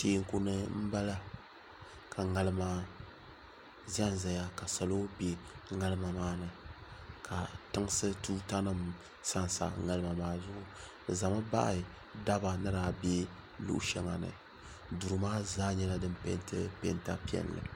tɛku ni n bala ka ŋarima zan zaya do bɛ ŋarima maa ni ka tɛŋsi tuta nim sansa ŋarima maa ni bɛ zami baɣ' daba ni shɛli duri maa zaa nyɛla dim nɛ pɛntɛ